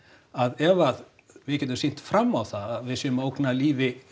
að ef að við getum sýnt fram á það að við séum að ógna lífi